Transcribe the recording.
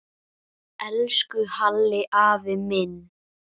Elsku Halli afi minn.